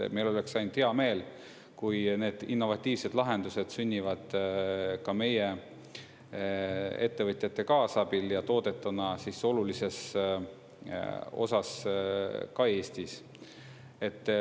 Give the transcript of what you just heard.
Meil oleks ainult hea meel, kui need innovatiivsed lahendused sünnivad meie ettevõtjate kaasabil ja toodetuna olulises osas ka Eestis.